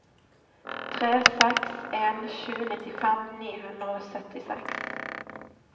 tre seks en sju nittifem ni hundre og syttiseks